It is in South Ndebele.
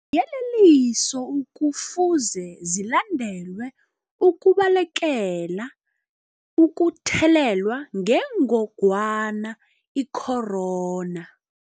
Iiyeleliso ekufuze zilandelwe ukubalekela ukuthelelwa ngengongwana i-corona.